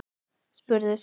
spurði Sóley